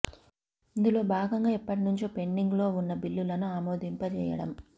ఇందులో భాగంగా ఎప్పటి నుంచో పెండింగ్ లో వున్న బిల్లులను ఆమోదింపజేయండం